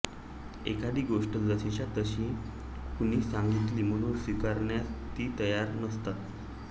एखादी गोष्ट जशीच्या तशी कुणी सांगितली म्हणून स्वीकारण्यास ती तयार नसतात